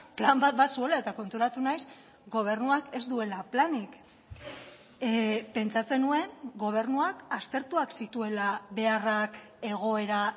plan bat bazuela eta konturatu naiz gobernuak ez duela planik pentsatzen nuen gobernuak aztertuak zituela beharrak egoera